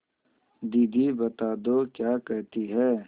दीदी बता दो क्या कहती हैं